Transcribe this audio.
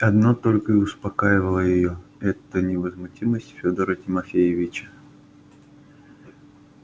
одно только и успокаивало её это невозмутимость фёдора тимофеича